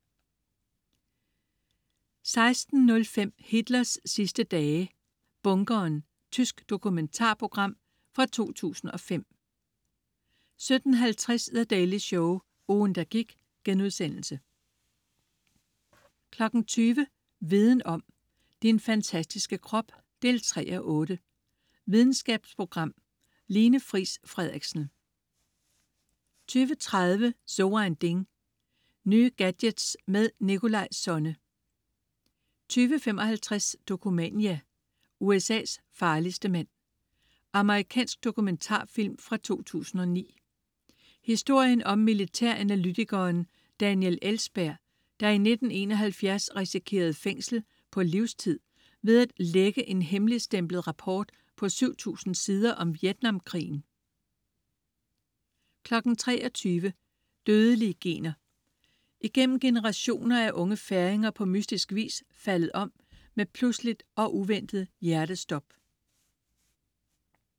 16.05 Hitlers sidste dage, bunkeren. Tysk dokumentarprogram fra 2005 17.50 The Daily Show, ugen, der gik* 20.00 Viden om: Din fantastiske krop 3:8. Videnskabsprogram. Line Friis Frederiksen 20.30 So ein Ding. Nye gadgets med Nikolaj Sonne 20.55 Dokumania: USA's farligste mand. Amerikansk dokumentarfilm fra 2009. Historien om militæranalytikeren Daniel Ellsberg, der i 1971 risikerede fængsel på livstid ved at lække en hemmeligstemplet rapport på 7000 sider om Vietnamkrigen 23.00 Dødelige gener. Igennem generationer er unge færinger på mystisk vis faldet om med pludseligt og uventet hjertestop